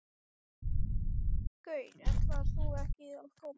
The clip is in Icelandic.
Loks kom Eggert með skrúfjárn og skrúfaði læsinguna úr.